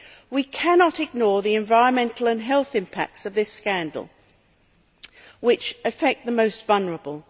We cannot ignore the environmental and health impacts of this scandal which affects the most vulnerable.